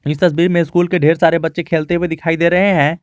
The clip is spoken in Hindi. इस तस्वीर में स्कूल के ढेर सारे बच्चे खेलते हुए दिखाई दे रहे हैं।